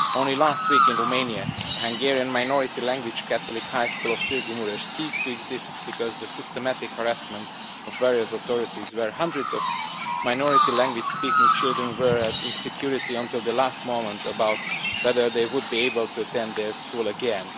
Only last week in Romania, the Hungarian minority language Catholic High School of Târgu Mureș ceased to exist because of the systematic harassment by various authorities where hundreds of minority language speaking children were insecure until the last moment about whether they would be able to attend their school again.